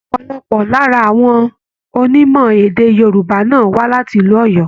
Ọpọlọpọ lára àwọn onímọ̀-èdè Yorùbá náà wà láti ìlú Oyo.